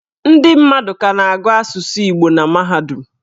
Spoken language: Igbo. Ndị mmadụ ka na-agụ asụsụ Igbo na mahadum.